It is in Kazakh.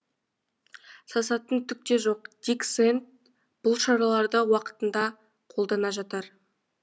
сасатын түк те жоқ дик сэнд бұл шараларды уақытында қолдана жатар